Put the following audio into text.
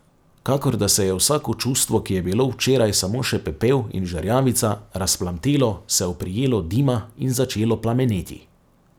Kakor da se je vsako čustvo, ki je bilo včeraj samo še pepel in žerjavica, razplamtelo, se oprijelo dima in začelo plameneti.